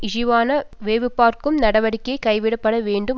இழிவான வேவுபார்க்கும் நடவடிக்கை கைவிடப்படவேண்டும்